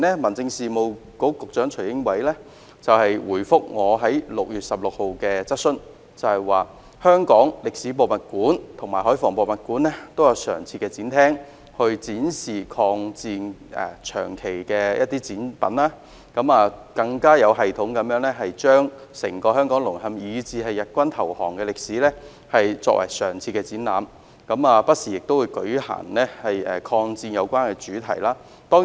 民政事務局局長徐英偉早前在6月16日回覆我提出的質詢時指出，香港歷史博物館和香港海防博物館均設有常設展廳，長期展示與抗戰有關的展品，更有系統地將整個香港淪陷，以至日軍投降的歷史作為常設展覽，也不時舉辦與抗戰有關的專題展覽。